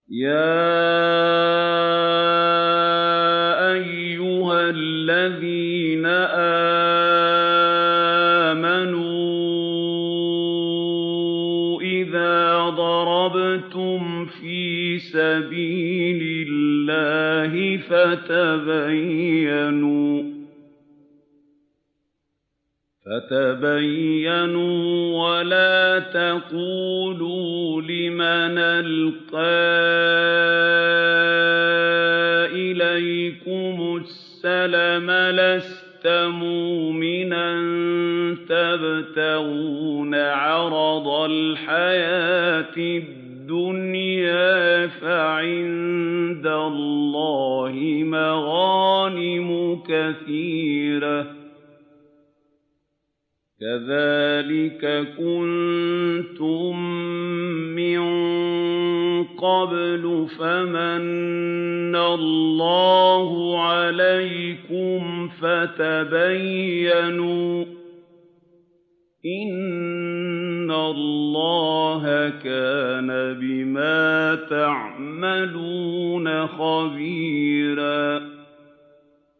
يَا أَيُّهَا الَّذِينَ آمَنُوا إِذَا ضَرَبْتُمْ فِي سَبِيلِ اللَّهِ فَتَبَيَّنُوا وَلَا تَقُولُوا لِمَنْ أَلْقَىٰ إِلَيْكُمُ السَّلَامَ لَسْتَ مُؤْمِنًا تَبْتَغُونَ عَرَضَ الْحَيَاةِ الدُّنْيَا فَعِندَ اللَّهِ مَغَانِمُ كَثِيرَةٌ ۚ كَذَٰلِكَ كُنتُم مِّن قَبْلُ فَمَنَّ اللَّهُ عَلَيْكُمْ فَتَبَيَّنُوا ۚ إِنَّ اللَّهَ كَانَ بِمَا تَعْمَلُونَ خَبِيرًا